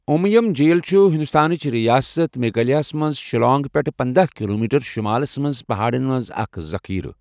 اُمیم جِیٖل چھُ ہندوستانٕچ رِیاسَت میگھالیہَس منٛز شیلانگ پیٹھٕ پنداہ کلومیٹر شمالس منٛز پہاڑَن منٛز اکھ ذخیرٕ۔